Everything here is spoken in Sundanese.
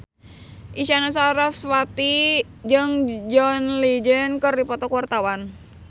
Isyana Sarasvati jeung John Legend keur dipoto ku wartawan